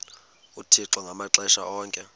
uthixo ngamaxesha onke